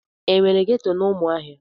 Enwere ghetọ na Umuahia?